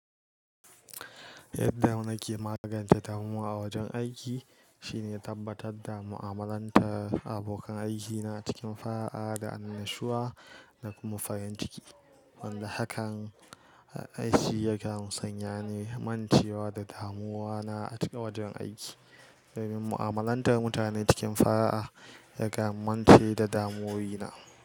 Yadda nake magance damuwa a wajen aiki shine tabbatar da mu'amalantar abokan aikina cikin fara'a da annashuwa da kuma farin ciki. Wanda hakan aiki yakan sanya ni mancewa da damuwana a cikin wajen aiki, domin mu'amalantar mutane cikin fara'a yakan mance da damuwuwina.